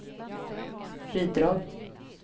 bidrag